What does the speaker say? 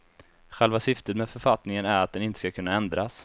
Själva syftet med författningen är att den inte skall kunna ändras.